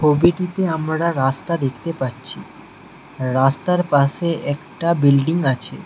ছবিটিতে আমরা রাস্তা দেখতে পাচ্ছি রাস্তার পাশে একটা বিল্ডিং আছে।